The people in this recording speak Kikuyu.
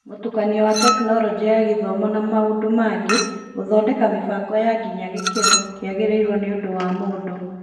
Mũtukanio wa Tekinoronjĩ ya Gĩthomo na maũndũ mangĩ, gũthondeka mĩbango nginya gĩkĩro kĩagĩrĩirwo nĩondo wa mũndũ.